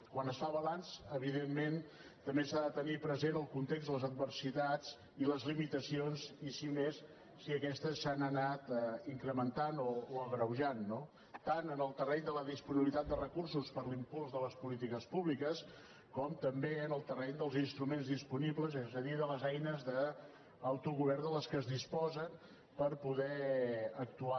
quan es fa balanç evidentment també s’ha de tenir present el context de les adversi·tats i les limitacions i més si aquestes s’han anat in·crementant o agreujant no tant en el terreny de la disponibilitat de recursos per a l’impuls de les polí·tiques públiques com també en el terreny dels instru·ments disponibles és a dir de les eines d’autogovern de les quals es disposen per poder actuar